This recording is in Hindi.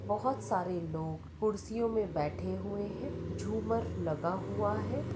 बहुत सारे लोग खुर्शीयो मे बैठे हुवे है झूमर लगा हुआ है।